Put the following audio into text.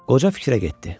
Qoca fikrə getdi.